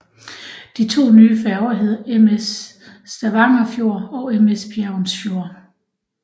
De to nye færger hedder MS Stavangerfjord og MS Bergensfjord